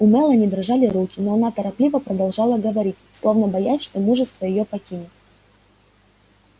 у мелани дрожали руки но она торопливо продолжала говорить словно боясь что мужество её покинет